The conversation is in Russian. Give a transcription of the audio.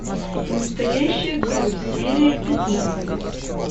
настоящая кровь серия пятнадцать